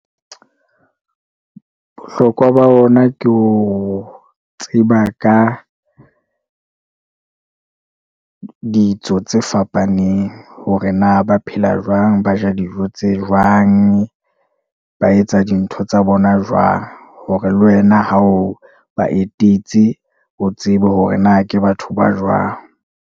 Bohlokwa ba ona ke ho tseba ka ditso tse fapaneng hore na ba phela jwang? Ba ja dijo tse jwang? Ba etsa dintho tsa bona jwang hore le wena ha o ba etetse o tsebe hore na ke batho ba jwang?